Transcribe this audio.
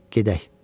Gedək, dedi.